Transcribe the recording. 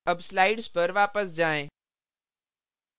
अब slides पर वापस जाएँ